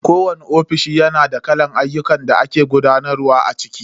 Kowani ofishi na da kalar ayyukan da ake gudanarwa a ciki.